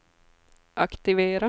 aktivera